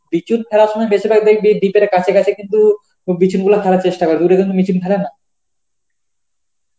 বিচুন করার সময় বেশিরভাগ দেখবি deep কাছে কাছে কিন্তু এই বিচুনগুলো ফেলার চেষ্টা করে. দূরে কিন্তু ফেলে না